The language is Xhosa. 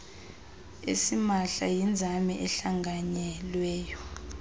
asimahla yinzame ehlanganyelweyo